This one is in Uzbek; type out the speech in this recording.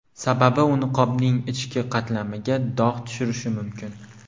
Sababi u niqobning ichki qatlamiga dog‘ tushirishi mumkin.